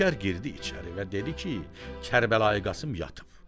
Nökər girdi içəri və dedi ki, Kərbəlayı Qasım yatıb.